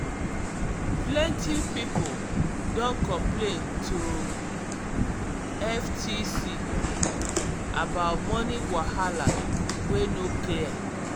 plenty pipo don complain to ftc about money wahala wey no clear.